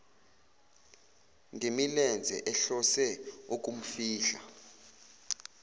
ngemilenze ehlose ukumfihla